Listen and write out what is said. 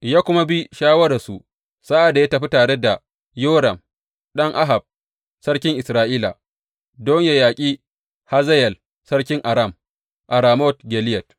Ya kuma bi shawararsu sa’ad da ya tafi tare da Yoram ɗan Ahab sarkin Isra’ila don yă yaƙi Hazayel sarkin Aram a Ramot Gileyad.